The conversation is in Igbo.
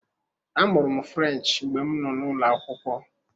Amụrụ m French mgbe m nọ n'ụlọ akwụkwọ.